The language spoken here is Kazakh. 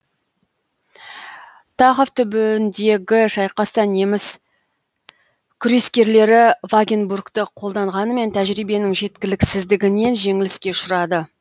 тахов түбіндегі шайқаста неміс күрескерлері вагенбургті қолданғанымен тәжиберінің жеткіліксіздігінен жеңіліске ұшырады